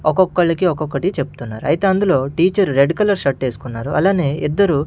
ఒకొక్కళ్ళకీ ఒక్కొక్కటి చెప్తున్నారు అయితే అందులో టీచర్ రెడ్ కలర్ షర్ట్ వేసుకున్నారు అలానే ఇద్దరు --